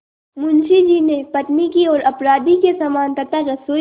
मुंशी जी ने पत्नी की ओर अपराधी के समान तथा रसोई की